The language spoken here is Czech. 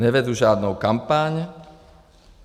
Nevedu žádnou kampaň.